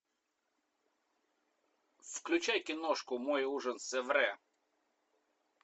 включай киношку мой ужин с эрве